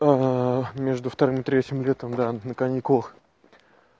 между вторым и третьим летом да на каникулах